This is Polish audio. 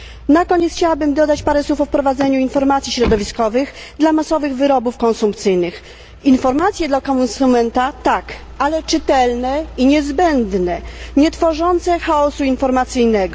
Na koniec chciałabym dodać parę słów o wprowadzeniu informacji środowiskowych dla masowych wyrobów konsumpcyjnych. Informacje dla konsumenta tak, ale czytelne i niezbędne, nietworzące chaosu informacyjnego.